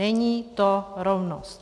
Není to rovnost.